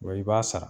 Wa i b'a sara